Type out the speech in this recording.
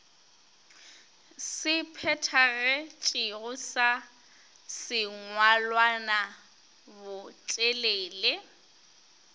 se phethagetšego sa sengwalwana botelele